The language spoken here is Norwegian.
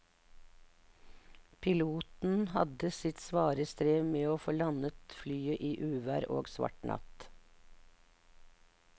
Piloten hadde sitt svare strev med å få landet flyet i uvær og svart natt.